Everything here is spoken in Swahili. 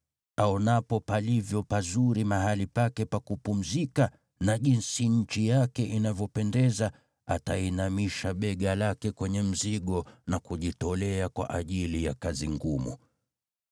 Aonapo palivyo pazuri mahali pake pa kupumzika na jinsi nchi yake inavyopendeza, atainamisha bega lake kwenye mzigo na kujitolea kwa ajili ya kazi ngumu.